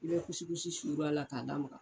I bɛ kusikusi sur'a la k'a lamaga.